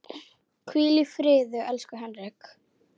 Hvíl í friði, elsku Henrik.